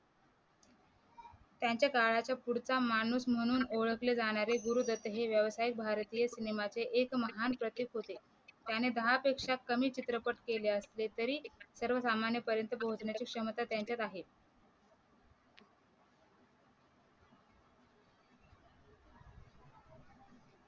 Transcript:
त्यांच्या काळाचा पुढचा माणूस म्हणून ओळखले जाणारे गुरुदत्त हे व्यवसाय भारतीय सिनेमाचे एक महान प्रतीक होते त्याने दहापेक्षा कमी चित्रपट केले असले तरी सर्वसामान्य पर्यंत पोहोचण्याची क्षमता त्यांच्यात आहे